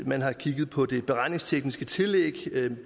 man har kigget på det beregningstekniske tillæg